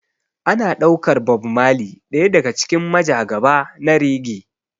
Ana ɗaukar Bob marley ɗaya daga cikin majagaba na reggae.